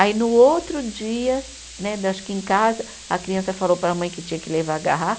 Aí no outro dia né, acho que em casa, a criança falou para a mãe que tinha que levar a garrafa.